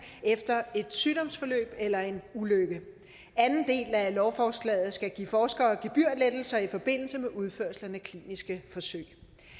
efter et sygdomsforløb eller en ulykke anden del af lovforslaget skal give forskerne gebyrlettelser i forbindelse med udførelse af kliniske forsøg